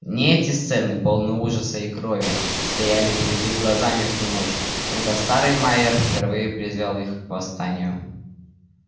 не эти сцены полны ужаса и крови стояли перед их глазами в ту ночь когда старый майер впервые призвал их к восстанию